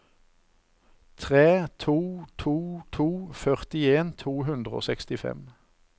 tre to to to førtien to hundre og sekstifem